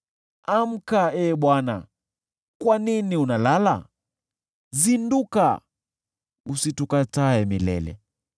Amka, Ee Bwana ! Kwa nini unalala? Zinduka! Usitukatae milele.